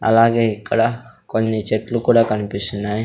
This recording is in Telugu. అలాగే ఇక్కడ కొన్ని చెట్లు కూడా కనిపిస్తున్నాయి.